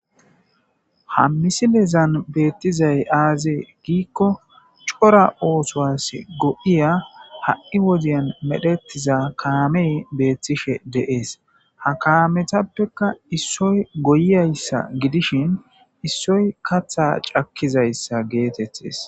ha misilezan beettizay aazee giikko cora oosowas go7iya ha7i wodiyan medhetiza kaamee beettishe deees ha kaametappekka issoy goyiyayssa gidishin issoy katha cakkizayssa geetettes